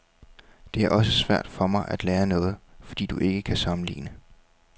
Det er også svært for mig at lære noget, fordi du ikke kan sammenligne.